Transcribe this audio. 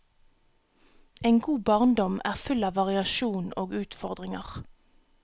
En god barndom er full av variasjon og utfordringer.